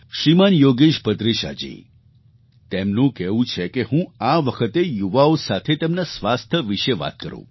શ્રીમાન યોગેશ ભદ્રેશાજી તેમનું કહેવું છે કે હું આ વખતે યુવાઓ સાથે તેમના સ્વાસ્થ્ય વિશે વાત કરું